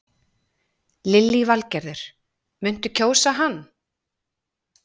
Lillý Valgerður: Muntu kjósa hann?